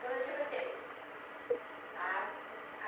Todo dia fazia isso. A meu a